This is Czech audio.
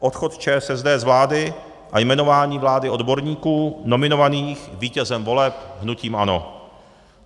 Odchod ČSSD z vlády a jmenování vlády odborníků nominovaných vítězem voleb hnutím ANO.